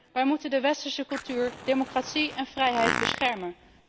Wij moeten de westerse cultuur, democratie en vrijheid beschermen.